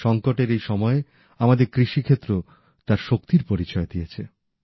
সংকটের এই সময়ে আমাদের কৃষি ক্ষেত্র তার শক্তির পরিচয় দিয়েছে